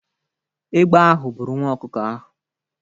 Egbe ahụ buru nwa ọkụkọ ahụ.